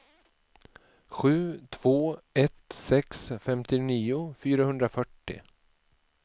sju två ett sex femtionio fyrahundrafyrtio